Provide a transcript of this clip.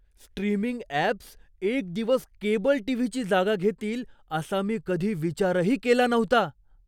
Streaming apps एक दिवस cable टीव्हीची जागा घेतील असा मी कधी विचारही केला नव्हता.